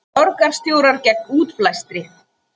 Borgarstjórar gegn útblæstri